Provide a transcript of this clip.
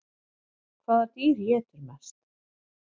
Hvaða dýr étur mest?